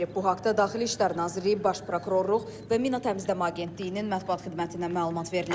Bu haqda Daxili İşlər Nazirliyi, Baş Prokurorluq və Mina Təmizləmə Agentliyinin mətbuat xidmətindən məlumat verilib.